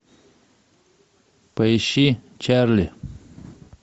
поищи чарли